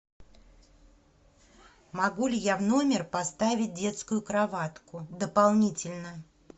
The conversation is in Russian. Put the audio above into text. могу ли я в номер поставить детскую кроватку дополнительно